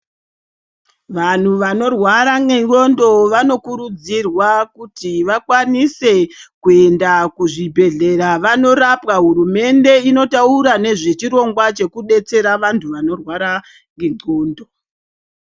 Vanhu vanorwara ngendxondo vanokurudzirwa kuti vakwanise kuenda kuzvibhedhlera vanorapwa hurumende inotaura nezvechirongwa chekudetsera vantu vanorwara ngenxondo.